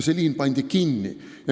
See liin pandi kinni.